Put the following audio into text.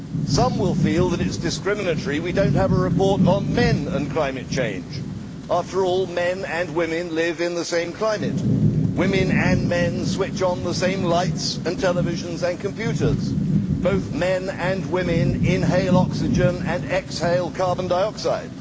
Some will feel it is discriminatory that we do not have a report on men and climate change after all, men and women live in the same climate, women and men switch on the same lights, televisions and computers, and both men and women inhale oxygen and exhale carbon dioxide.